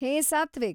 ಹೇ Satwik!